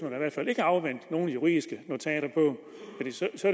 fald ikke afvente nogen juridiske notater det